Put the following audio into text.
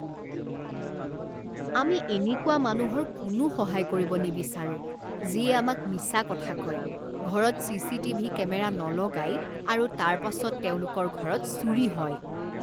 আমি এনেকুৱা মানুহৰ কোনো সহায় কৰিব নিবিচাৰোঁ যিয়ে আমাক মিছা কথা কয়, ঘৰত চিচিটিভি কেমেৰা নলগায় আৰু তাৰ পাছত তেওঁলোকৰ ঘৰত চুৰি হয়।